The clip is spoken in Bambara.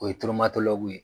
O ye ye.